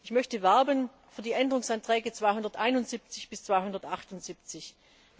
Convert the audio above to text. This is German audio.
Ich möchte für die Änderungsanträge 271 bis 278 werben.